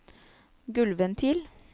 gulvventil